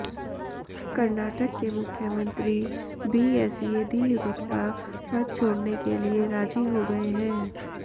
कर्नाटक के मुख्यमंत्री बीएस येदियुरप्पा पद छोड़ने के लिए राजी हो गए हैं